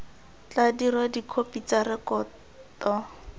tla dirwa dikhopi tsa rekoto